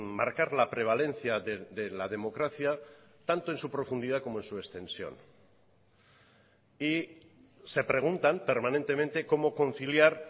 marcar la prevalencia de la democracia tanto en su profundidad como en su extensión y se preguntan permanentemente cómo conciliar